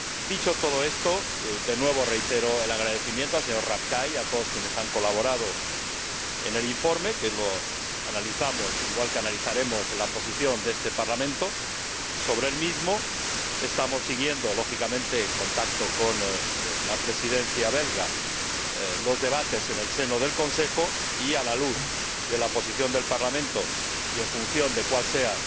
Dicho todo esto, de nuevo reitero el agradecimiento al señor Rapkay y a todos quienes han colaborado en el informe que analizamos y analizaremos la posición de este Parlamento sobre el mismo estamos siguiendo, lógicamente en contacto con la Presidencia belga, los debates en el seno del Consejo y, a la luz de la posición del Parlamento y en función de cual sea